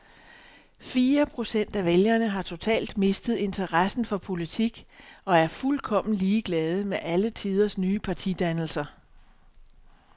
Fire procent af vælgerne har totalt mistet interessen for politik og er fuldkommen ligeglade med alle tidens nye partidannelser.